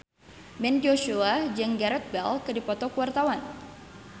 Ben Joshua jeung Gareth Bale keur dipoto ku wartawan